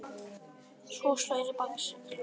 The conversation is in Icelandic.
Svo slær í bakseglin.